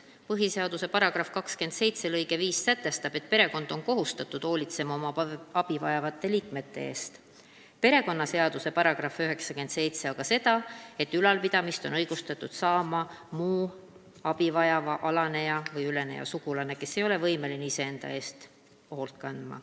Põhiseaduse § 27 lõige 5 sätestab, et perekond on kohustatud hoolitsema oma abi vajavate liikmete eest, perekonnaseaduse § 97 aga seda, et ülalpidamist on õigustatud saama muu abi vajav alaneja või üleneja sugulane, kes ei ole võimeline ise enda eest hoolt kandma.